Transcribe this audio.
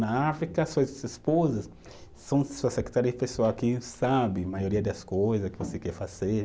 Na África, suas esposas são sua secretária pessoal, que sabe a maioria das coisa que você quer fazer.